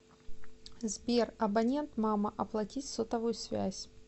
сбер абонент мама оплатить сотовую связь